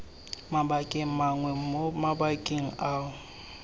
mabakeng mangwe mo mabakeng ao